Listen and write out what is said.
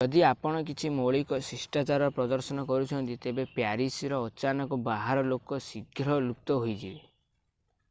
ଯଦି ଆପଣ କିଛି ମୌଳିକ ଶିଷ୍ଟାଚାର ପ୍ରଦର୍ଶନ କରୁଛନ୍ତି ତେବେ ପ୍ୟାରିସର ଅଚାନକ ବାହାର ଲୋକ ଶୀଘ୍ର ଲୁପ୍ତ ହୋଇଯିବେ